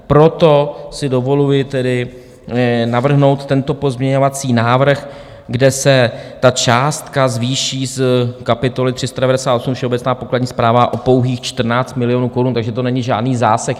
Proto si dovoluji tedy navrhnout tento pozměňovací návrh, kde se ta částka zvýší z kapitoly 398, Všeobecná pokladní správa, o pouhých 14 milionů korun, takže to není žádný zásek.